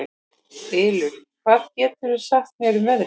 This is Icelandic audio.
Ylur, hvað geturðu sagt mér um veðrið?